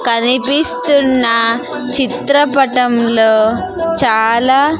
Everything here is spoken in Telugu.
కనిపిస్తున్న చిత్రపటంలో చాలా--